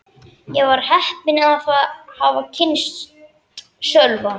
Ég var heppin að hafa kynnst Sölva.